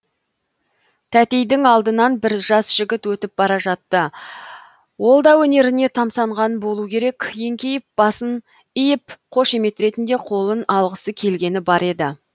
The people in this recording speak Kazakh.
тәтейдің алдынан бір жас жігіт өтіп бара жатты ол да өнеріне тамсанған болу керек еңкейіп басын иіп қошемет ретінде қолын алғысы келгені бар еді